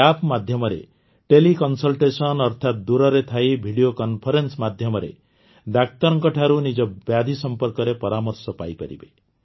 ଏହି ଆପ୍ ମାଧ୍ୟମରେ ଟେଲିକନ୍ସଲ୍ଟେଶନ୍ ଅର୍ଥାତ ଦୂରରେ ଥାଇ ଭିଡିଓ କନ୍ଫରେନ୍ସ ମାଧ୍ୟମରେ ଡାକ୍ତରଙ୍କଠାରୁ ନିଜ ବ୍ୟାଧି ସମ୍ପର୍କରେ ପରାମର୍ଶ ପାଇପାରିବେ